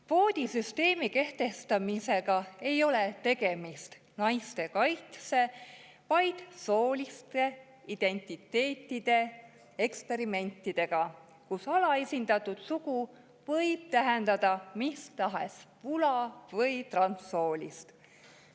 Kvoodisüsteemi kehtestamisel ei ole tegemist naiste kaitsega, vaid sooliste identiteetide eksperimendiga, kus alaesindatud sugu võib tähendada mis tahes vula- või transsoolisust.